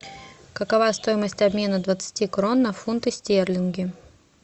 какова стоимость обмена двадцати крон на фунты стерлинги